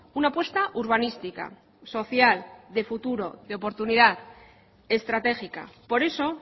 una apuesta urbanística social de futuro de oportunidad estratégica por eso